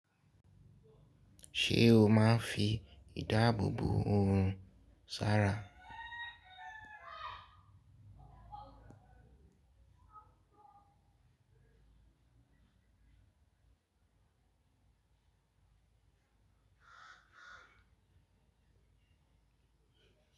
Ṣé o máa ń fi ìdáàbò bo oorun, sara?